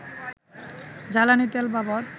জ্বালানি তেলবাবদ